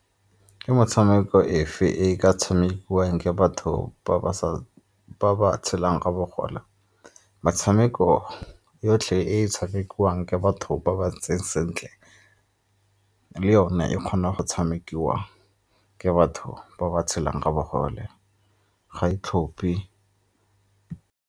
Ke motshameko efe e ka tshamekiwang ke batho ba ba tshelang ka bogole? Metshameko yotlhe e e tshamekiwang ke batho go ba ba ntseng sentle le yone e kgona go tshamekiwa ke batho ba ba tshelang ka bogole, ga e tlhophe.